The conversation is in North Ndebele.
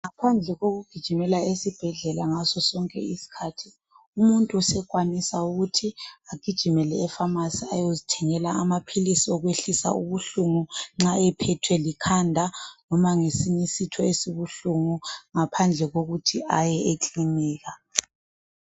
Ngaphandle kokugijimela esibhedlela ngaso sonke iskhathi umuntu sekwanisa ukuthi agijimele epharmacy .Ayezithengela amaphilisi okwehlisa ubuhlungu nxa ephethwe likhanda noma ngesinye isitho esibuhlungu .Ngaphandle kokuthi aye ekilinika.